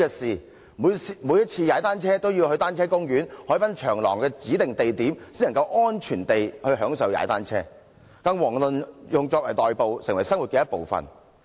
市民每次踏單車也要到單車公園或海濱長廊的指定地點，才能安全地享受踏單車，遑論作為代步工具，成為生活的一部分。